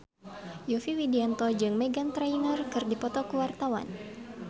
Yovie Widianto jeung Meghan Trainor keur dipoto ku wartawan